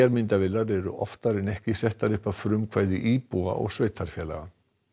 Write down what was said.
myndavélar eru oftar en ekki settar upp af frumkvæði íbúa og sveitarfélaga